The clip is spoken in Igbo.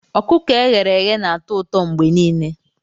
Ọkụkọ e ghere eghe na-atọ ụtọ mgbe niile